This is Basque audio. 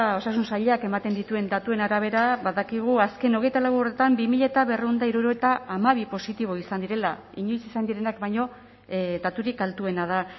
osasun sailak ematen dituen datuen arabera badakigu azken hogeita lau orduetan bi mila berrehun eta hirurogeita hamabi positibo izan direla inoiz izan direnak baino daturik altuena da